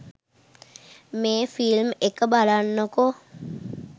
මේ ෆිල්ම් එක බලන්නකෝ